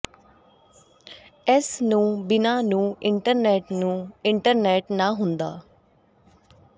ਇਸ ਨੂੰ ਬਿਨਾ ਨੂੰ ਇੰਟਰਨੈੱਟ ਨੂੰ ਇੰਟਰਨੈੱਟ ਨਾ ਹੁੰਦਾ